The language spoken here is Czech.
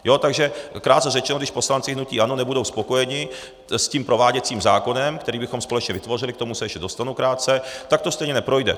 Takže krátce řečeno, když poslanci hnutí ANO nebudou spokojeni s tím prováděcím zákonem, který bychom společně vytvořili, k tomu se ještě dostanu krátce, tak to stejně neprojde.